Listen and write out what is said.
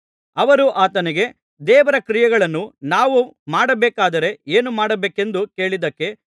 ಅವರು ಆತನಿಗೆ ದೇವರ ಕ್ರಿಯೆಗಳನ್ನು ನಾವು ಮಾಡಬೇಕಾದರೆ ಏನು ಮಾಡಬೇಕೆಂದು ಕೇಳಿದ್ದಕ್ಕೆ